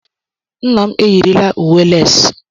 Nna m eyirila uwe les.